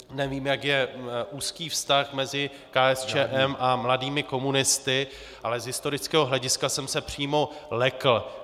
Nevím, jak je úzký vztah mezi KSČM a mladými komunisty, ale z historického hlediska jsem se přímo lekl.